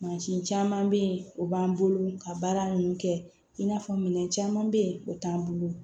Mansin caman bɛ ye o b'an bolo ka baara ninnu kɛ i n'a fɔ minɛn caman bɛ yen o t'an bolo